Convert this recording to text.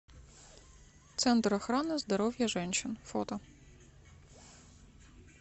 центр охраны здоровья женщин фото